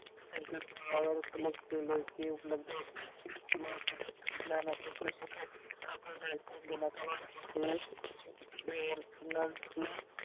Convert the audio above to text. संकेत स्थळावर क्लिक केल कि लगेच येते माहिती तंत्रज्ञानाच्या कृषी खात्याने संगणकावर ,